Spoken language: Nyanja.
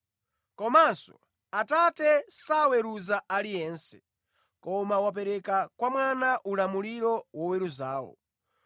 Komanso, Atate saweruza aliyense koma wapereka kwa Mwana ulamuliro woweruzawo,